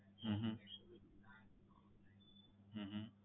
હમ હમ